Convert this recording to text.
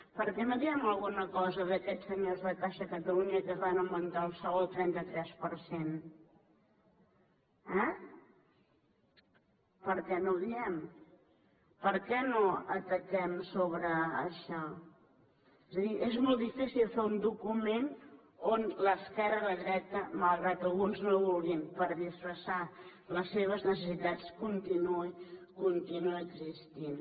per què no diem alguna cosa d’aquests senyors de caixa catalunya que es van augmentar el sou el trenta tres per cent eh per què no ho diem per què no ataquem sobre això és a dir és molt difícil fer un document on l’esquerra i la dreta malgrat que alguns no ho vulguin per disfressar les seves necessitats continuïn existint